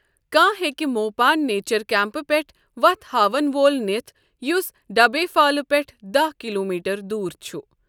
کانٛہہ ہٮ۪کہِ موپان نیچر کیمپہٕ پیٹھ وتھ ہاوَن وول نِتھ یُس ڈبے فالہٕ پیٹھٕ داہ کلوٗمیٹر دوٗر چھُ۔